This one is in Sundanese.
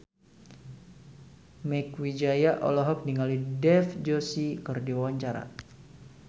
Mieke Wijaya olohok ningali Dev Joshi keur diwawancara